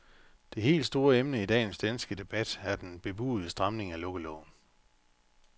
Det helt store emne i dagens danske debat er den bebudede stramning af lukkeloven.